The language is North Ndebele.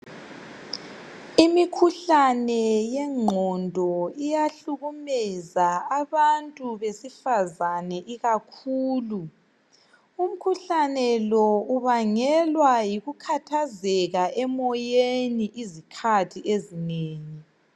Imikhuhlane yengqondo iyahlukumeza abantu besifazane ikakhulu, umkhuhlane lo ubangelwa yikukhathazeka emoyeni izikhathi ezinengi.